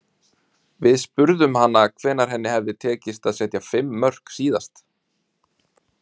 Við spurðum hana hvenær henni hefði tekist að setja fimm mörk síðast.